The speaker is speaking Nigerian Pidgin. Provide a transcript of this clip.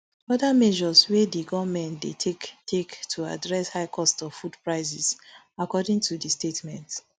oda measures wey di goment dey take take to address high cost of food prices according to di statement